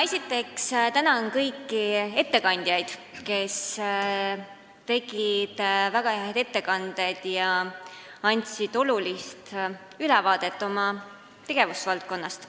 Esiteks ma tänan kõiki ettekandjaid, kes tegid väga häid ettekandeid ja andsid olulise ülevaate oma tegevusvaldkonnast.